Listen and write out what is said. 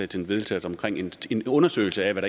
til vedtagelse om en undersøgelse af hvad